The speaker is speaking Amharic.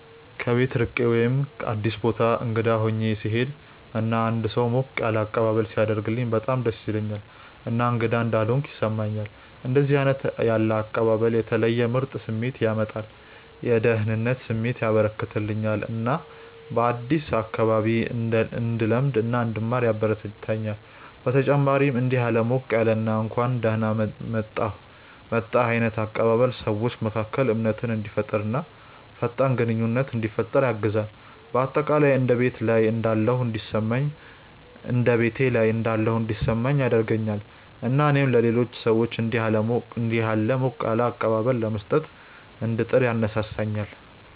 ከቤት ርቄ ወይም አዲስ ቦታ እንግዳ ሆኜ ስሄድ እና አንድ ሰው ሞቅ ያለ አቀባበል ሲያደርግልኝ በጣም ደስ ይለኛል እና እንግዳ እንዳልሆንኩ ያስሰማኛል። እንደዚህ ያለ አቀባበል የተለየ ምርጥ ስሜት ያመጣል፤ የደህንነት ስሜት ያበረከተልኛል እና በአዲሱ አካባቢ እንድለማመድ እና እንድማር ያበረታታኛል። በተጨማሪም እንዲህ ያለ ሞቅ ያለ እና እንኳን ደህና መጣህ ዓይነት አቀባበል ሰዎች መካከል እምነትን እንዲፈጠር እና ፈጣን ግንኙነት እንዲፈጠር ያግዛል። በአጠቃላይ እንደ ቤት ላይ እንዳለሁ እንዲሰማኝ ያደርገኛል እና እኔም ለሌሎች ሰዎች እንዲሁ ያለ ሞቅ ያለ አቀባበል ለመስጠት እንድጥር ያነሳሳኛል።